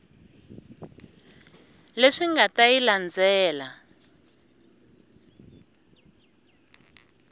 leswi nga ta yi landzela